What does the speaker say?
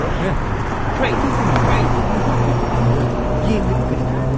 ꯃꯦꯝ ꯑꯗꯨꯒꯨꯝꯅ ꯅꯍꯥꯛꯅ ꯑꯩꯉꯣꯟꯗ ꯌꯦꯡꯂꯤꯕ ꯀꯔꯤꯒꯤꯅꯣ?